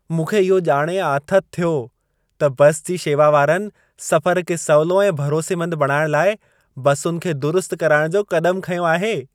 मूंखे इहो ॼाणे आथति थियो त बस जी शेवा वारनि सफ़र खे सवलो ऐं भरोसेमंद बणाइण लाइ बसुनि खे दुरुस्त कराइण जो क़दम खंयो आहे।